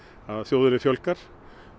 að þjóðinni fjölgar